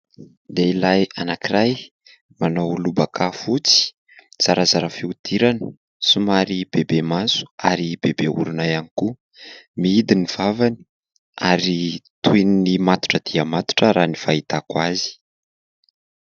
Lehilahy anakiray manao lobaka fotsy zarazara fiodirana somary bebe maso ary bebe orona ihany koa miidy ny vavany ary toy ny matotra dia matotra raha ny fahitako azy.